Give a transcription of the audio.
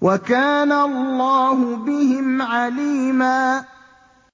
وَكَانَ اللَّهُ بِهِمْ عَلِيمًا